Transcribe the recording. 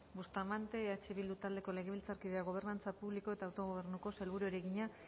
bustamante eh bildu taldeko legebiltzarkideak gobernantza publiko eta autogobernuko sailburuari egina